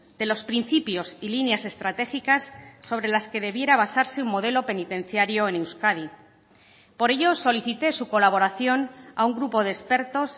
de los principios y líneas estratégicas sobre las que debiera basarse un modelo penitenciario en euskadi por ello solicité su colaboración a un grupo de expertos